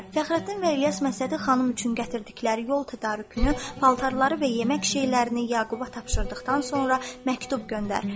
Fəxrəddin və İlyas Məşədi xanım üçün gətirdikləri yol tədarükünü, paltarları və yemək şeylərini Yaquba tapşırdıqdan sonra məktub göndər.